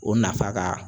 O nafa ka